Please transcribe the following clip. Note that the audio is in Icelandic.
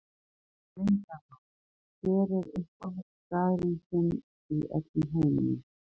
Leyndarmál Hver er uppáhaldsstaðurinn þinn í öllum heiminum?